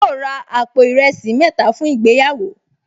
Yóò ra àpò ìrẹsì mẹ́ta fún ìgbéyàwó